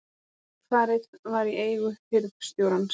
Kaupfarið var í eigu hirðstjórans.